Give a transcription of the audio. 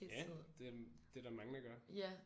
Ja det det er der mange der gør